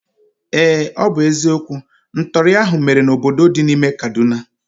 Ee, ọ bụ eziokwu. Ntọri ahụ mere n'obodo dị n'ime kaduna